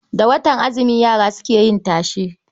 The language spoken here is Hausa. Da watan azumi yara suke yin tashe.